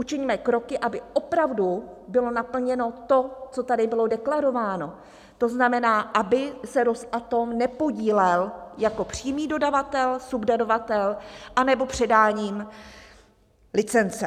Učiňme kroky, aby opravdu bylo naplněno to, co tady bylo deklarováno, to znamená, aby se Rosatom nepodílel jako přímý dodavatel, subdodavatel anebo předáním licence.